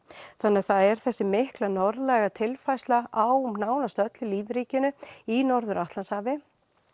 þannig að það er þessi mikla norðlæga tilfærsla á nánast öllu lífríkinu í Norður Atlantshafinu